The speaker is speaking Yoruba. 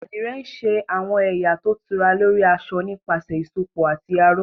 Àdìrẹ ń ṣe àwọn ẹ̀yà tó tura lórí aṣọ nípasẹ̀ ìsopọ̀ àti aró